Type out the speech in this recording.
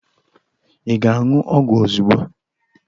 Ị ga-aṅụ ọgwụ ozugbo.